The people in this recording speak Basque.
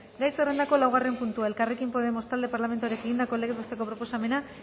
gai zerrendako laugarren puntua elkarrekin podemos talde parlamentarioak egindako legez besteko proposamena